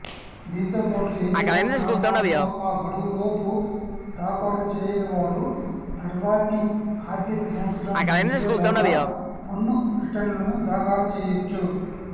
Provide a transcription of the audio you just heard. దీంతోపాటు ఏదైనా కారణాలతో ఆ గడువులోపు దాఖలు చేయనివారు తర్వాతి ఆర్థిక సంవత్సరం ముగిసేలోగా పన్ను రిటర్నులను దాఖలు చేయవచ్చు